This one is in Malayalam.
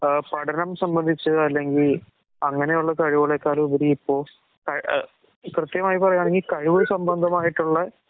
ആഹ് പഠനം സംബന്ധിച്ച് അല്ലെങ്കി അങ്ങനെയുള്ള കഴിവുകളെക്കാളുപരി ഇപ്പൊ അഹ് പ്രത്യേകമായി പറയാണെങ്കിൽ കഴിവ് സംബന്ധമായിട്ടുള്ള